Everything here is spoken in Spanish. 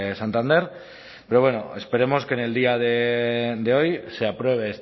santander pero bueno esperemos que en el día de hoy se apruebe